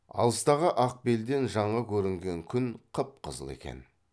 алыстағы ақ белден жаңа көрінген күн қып қызыл екен